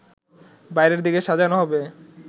বাইরের দিক সাজানো হবে